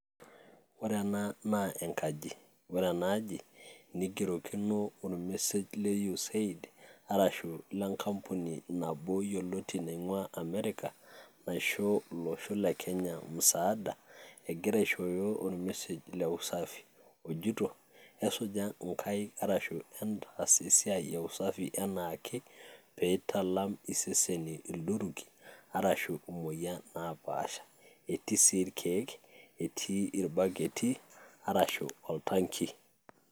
Ore ena naa enkaji, ore ena aji neigerokino olmessage le USAID, arashu le nkampuni nabo yioloti naing`uaa Amerika, naisho olosho le Kenya musaada. Egira aishooyo or message le usafi ojoito esuja nkaik arashu entaas esiai e usafi enaake pee italam iseseni ildurruki arashu emoyian naapaaasha, etii sii irkiek etii irbuketi arashu oltanki.